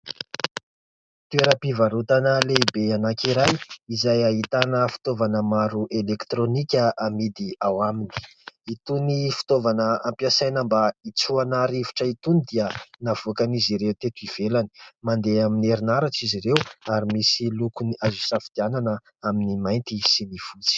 Toeram-pivarotana lehibe anankiray, izay ahitana fitaovana maro elektronika amidy ao aminy. Itony fitaovana ampiasaina mba hitsofana rivotra itony dia navoakan'izy ireo teto ivelany ; mandeha amin'ny herinaratra izy ireo ary misy lokony azo hisafidianana amin'ny mainty sy ny fotsy.